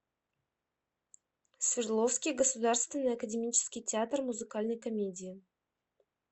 свердловский государственный академический театр музыкальной комедии